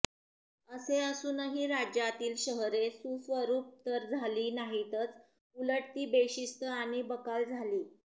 असे असूनही राज्यातील शहरे सुस्वरूप तर झाली नाहीतच उलट ती बेशिस्त आणि बकाल झाली